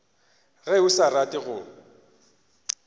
ge o sa rate go